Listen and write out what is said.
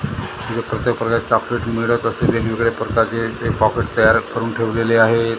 इथ प्रत्येक प्रकारचे चॉकलेट मिळत असेल वेगवेगळे प्रकारचे इथे पॉकेट तयार करून ठेवलेले आहेत.